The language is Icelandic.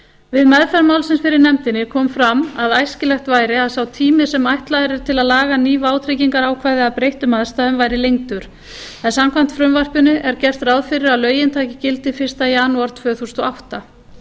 við meðferð málsins fyrir nefndinni kom fram að æskilegt væri að sá tími sem ætlaður er til að laga ný vátryggingaákvæði að breyttum aðstæðum væri lengdur en samkvæmt frumvarpinu er gert ráð fyrir að lögin taki gildi fyrsta janúar tvö þúsund og átta